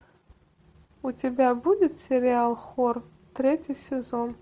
у тебя будет сериал хор третий сезон